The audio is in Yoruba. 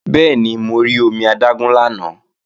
Bẹ́ẹ̀ni, mo rí omi adágún lánàá